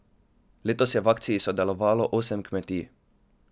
Letos je v akciji sodelovalo osem kmetij.